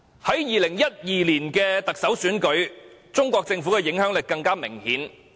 在2012年特首選舉中，中國政府的影響力更為明顯。